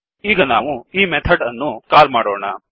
ಈಗ ನಾವು ಈ ಮೆಥಡ್ ಅನ್ನು ಕಾಲ್ ಮಾಡೋಣ